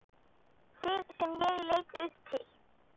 Þig sem ég leit upp til.